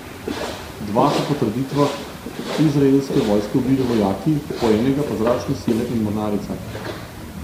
Dva so po trditvah izraelske vojske ubili vojaki, po enega pa zračne sile in mornarica.